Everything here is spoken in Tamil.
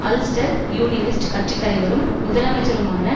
அல்ஸ்டர் யூனியனிஸ்ட் கட்சி தலைவரும் முதலமைச்சருமான